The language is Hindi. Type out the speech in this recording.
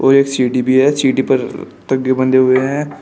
और एक सीढ़ी भी है सीढ़ी पर बंधे हुए हैं।